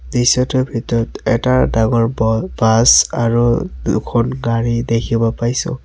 দৃশ্যটোৰ ভিতৰত এটা ডাঙৰ বল বাছ আৰু দুখন গাড়ী দেখিব পাইছোঁ।